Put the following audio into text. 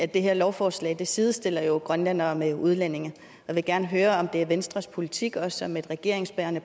det her lovforslag sidestiller jo grønlændere med udlændinge jeg vil gerne høre om det er venstres politik også som et regeringsbærende